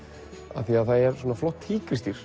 af því að það er flott